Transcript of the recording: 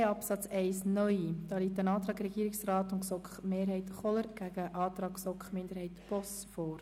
Absatz 1 liegt der Antrag Regierungsrat/GSoK-Mehrheit gegen den Antrag GSoK-Minderheit/ Boss vor.